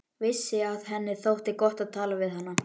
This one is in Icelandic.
Vissi að henni þótti gott að tala við hana.